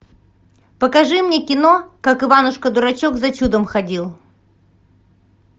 покажи мне кино как иванушка дурачок за чудом ходил